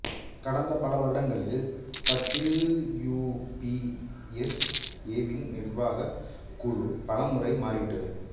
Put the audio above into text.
கடந்த பல வருடங்களில் டபிள்யூபிபீஎஸ்ஏவின் நிர்வாகக் குழு பல முறை மாறி விட்டது